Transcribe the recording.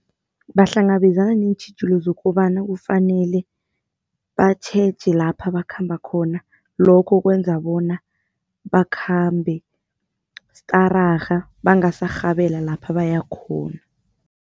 Bahlangabezana neentjhijilo zokobana kufanele batjheje lapha bakhamba khona lokho kwenza bona bakhambe stararha bangaserhabela lapha bayakhona.